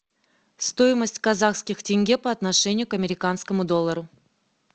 стоимость казахских тенге по отношению к американскому доллару